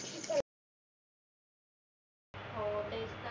हो तेच त आहे